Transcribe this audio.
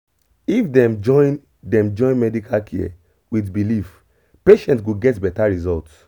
if dem join dem join medical care with belief patient go get better result